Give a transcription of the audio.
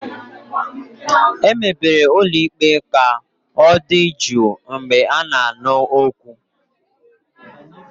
Emebere ụlọ ikpe ka ọ dị jụụ mgbe a na-anụ okwu.